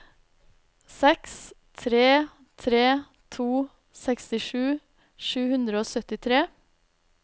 seks tre tre to sekstisju sju hundre og syttitre